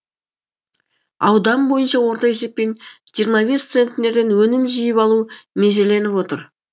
аудан бойынша орта есеппен жиырма бес центнерден өнім жиып алу межеленіп отыр